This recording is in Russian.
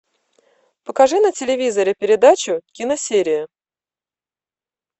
покажи на телевизоре передачу киносерия